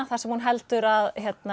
þar sem hún heldur að